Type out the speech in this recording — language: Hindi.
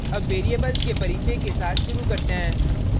अब variables के परिचय के साथ शुरू करते हैं